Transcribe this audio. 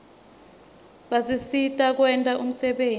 basisitn kwenta umsebenti